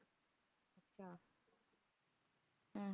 ਹਮ